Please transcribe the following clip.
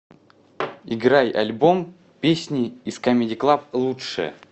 играй альбом песни из камеди клаб лучшее